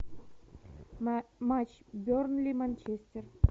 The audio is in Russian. матч бернли манчестер